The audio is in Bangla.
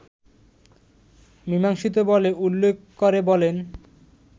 মিমাংসিত বলে উল্লেখ করে বলেন